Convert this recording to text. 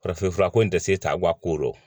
Farafinfura ko in tɛ se ka bɔ a ko rɔ